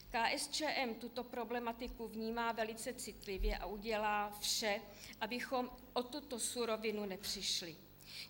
KSČM tuto problematiku vnímá velice citlivě a udělá vše, abychom o tuto surovinu nepřišli.